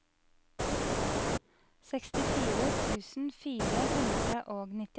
sekstifire tusen fire hundre og nittiåtte